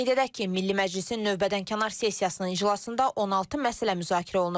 Qeyd edək ki, Milli Məclisin növbədənkənar sessiyasının iclasında 16 məsələ müzakirə olunub.